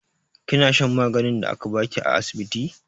Kina shan maganin da aka ba ki a asibiti?